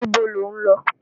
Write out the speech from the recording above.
Níbo lọ̀ ń lọ?